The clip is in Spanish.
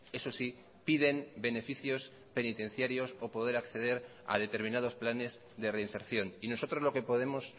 eso sí piden beneficios penitenciarios o poder acceder a determinados planes de reinserción y nosotros lo que podemos